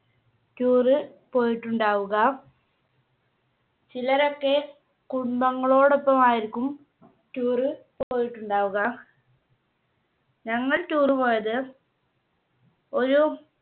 Tour പോയിട്ടുണ്ടാവുക. ചിലരൊക്കെ കുടുംബങ്ങളോടൊപ്പം ആയിരിക്കും Tour പോയിട്ടുണ്ടാവുക. ഞങ്ങൾ Tour പോയത് ഒരു